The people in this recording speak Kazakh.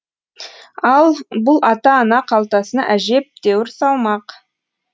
ал бұл ата ана қалтасына әжептәуір салмақ